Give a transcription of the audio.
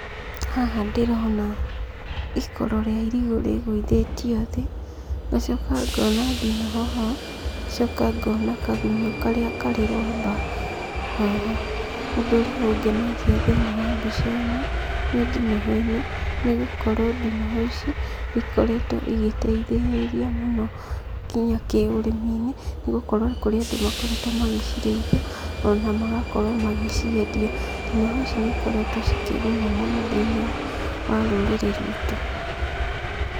Haha ndĩrona ikoro rĩa irigũ rĩgũithĩtio thĩ, ngacoka ngona ndinoho ho, ngacoka ngona kagunyũ karĩa karĩ rwamba haha. ũndũ ũrĩa ũngenagia thĩiniĩ wa mbica ĩno, nĩ ndinoho ĩno, nĩ gũkorwo ndinoho ici, nĩ ikoretwo igĩteithĩrĩria mũno nginya kĩũrĩmi-inĩ, nĩgũkorwo nĩ kũrĩ andũ makoretwo magĩcirĩithia, ona magakorwo magĩciendia. Ndinoho ici nĩ ikoretwo cikĩguna mũno thĩiniĩ wa rũrĩrĩ rwitũ.